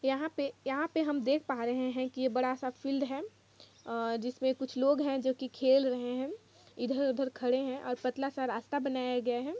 यहाँ पे यहाँ पे हम देख पा रहे है की ऐ बड़ा सा फिल्ड है अ- जिस में कुछ लोग है जो की खेल रहे है इधर-उधर खड़े है और पतला सा रास्ता बनाया गया है।